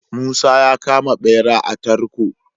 Musa ya kama bera a tarko